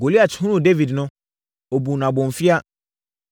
Goliat hunuu Dawid no, ɔbuu no abomfiaa.